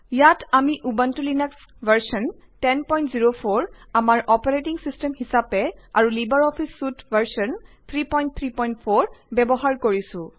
ইয়াত আমি Ubuntu Linux সংস্কৰণ 1004 আমাৰ অপাৰেটিং চিষ্টেম হিচাপে আৰু লিবাৰ অফিচ চুইট সংস্কৰণ 334 ব্যৱহাৰ কৰিছো